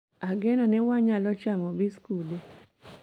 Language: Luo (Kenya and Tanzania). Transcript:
Ageno ni wanyalo chamo biskude